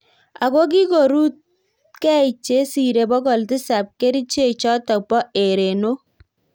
Agokigorutkei chesiree pokol tisap keriche chotok Po erenok